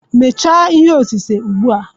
Mechaa ihe osise ugbua.